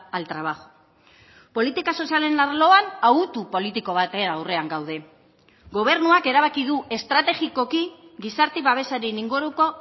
al trabajo politika sozialen arloan autu politiko baten aurrean gaude gobernuak erabaki du estrategikoki gizarte babesaren inguruko